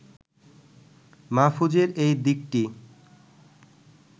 মাহফুজের এই দিকটি